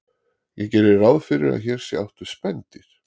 ég geri ráð fyrir að hér sé átt við spendýr